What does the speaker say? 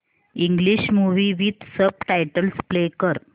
English movie with subtitles play कर